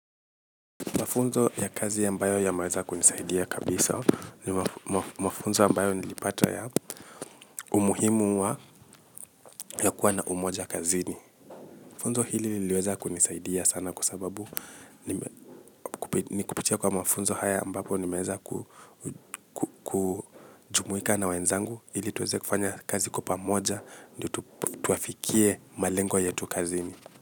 Mafunzo ya kazi ambayo yameweza kunisaidia kabisa ni mafunzo ambayo nilipata ya umuhimu wa ya kuwa na umoja kazini. Funzo hili liliweza kunisaidia sana sababu ni kupitia mafunzo haya nimeweza kujumuika na wenzangu ili tuweze kufanya kazi kwa pamoja ndio tufikie malengo yetu kazini.